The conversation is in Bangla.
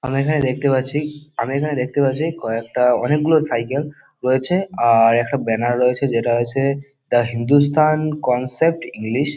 আমরা এখানে দেখতে পাচ্ছি আমি এখানে দেখতে পাচ্ছি কয়েকটা অনেকগুলো সাইকেল রয়েছে। আর একটা ব্যানার রয়েছে যেটা আছে দা হিন্দুস্তান কনসেপ্ট ইংলিশ ।